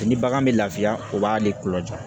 Ni bagan bɛ lafiya o b'ale kulo jɔ